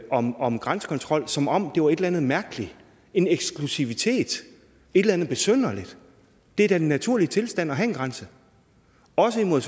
om om grænsekontrol som om det var et eller andet mærkeligt en eksklusivitet et eller andet besynderligt det er da en naturlig tilstand at have en grænse også en mod